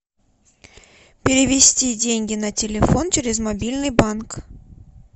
перевести деньги на телефон через мобильный банк